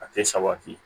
A tɛ sabati